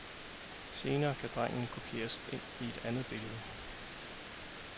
Senere kan drengen kopieres ind i et andet billede.